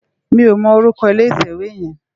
Mi ó mò órúkò ilé itèwé yèn